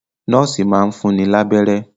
Nọ́ọ̀sì máa ń fún ni lábẹ́rẹ́